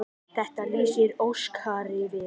Þetta lýsir Óskari vel.